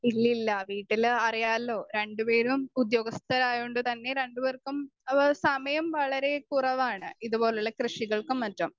Speaker 2 ഇല്ലില്ല വീട്ടില് അറിയാല്ലോ രണ്ടുപേരും ഉദ്യോഗസ്ഥരായോണ്ട് തന്നെ രണ്ടുപേർക്കും അവർ സമയം വളരെ കുറവാണ് ഇതുപോലുള്ള കൃഷികൾക്കും മറ്റും.